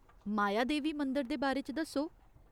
मायादेवी मंदर दे बारे च दस्सो ?